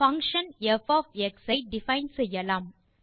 function f of x ஐ define செய்யலாம்